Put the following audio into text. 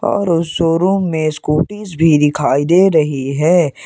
ओर showroom में scooties भी दिखाई दे रही है ।